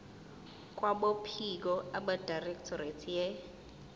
kwabophiko abedirectorate ye